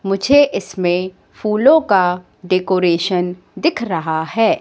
मुझे इसमें फूलों का डेकोरेशन दिख रहा है।